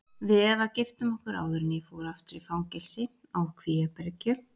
Við Eva giftum okkur áður en ég fór aftur í fangelsi, á Kvíabryggju.